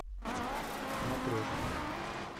матрешка